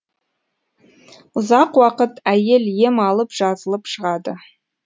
ұзақ уақыт әйел ем алып жазылып шығады